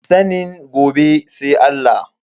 Sanin gobe sai Allah.